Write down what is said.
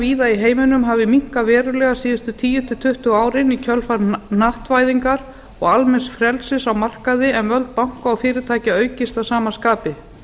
víða í heiminum hafi minnkað verulega síðustu tíu til tuttugu árin í kjölfar hnattvæðingar og almenns frelsis á markaði en völd banka og fyrirtækja aukist að sama skapi